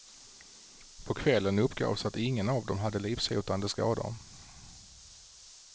På kvällen uppgavs att ingen av dem hade livshotande skador.